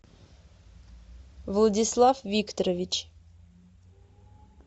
владислав викторович